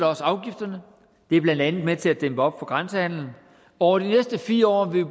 også afgifterne det er blandt andet med til at dæmme op for grænsehandelen over de næste fire år vil